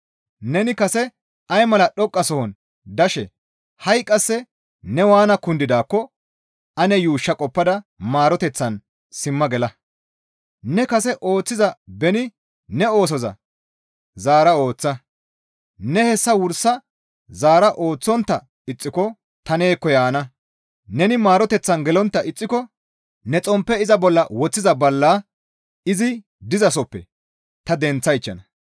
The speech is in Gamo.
Neni kase ay mala dhoqqasohon dashe ha7i qasse ne waana kundidaakko ane yuushsha qoppada maaroteththan simma gela. Ne kase ooththiza beni ne oosoza zaara ooththa; ne hessa wursa zaara ooththontta ixxiko ta neekko yaana; neni maaroteththan gelontta ixxiko neni xomppe iza bolla woththiza ballaa izi dizasoppe ta denththaychchana.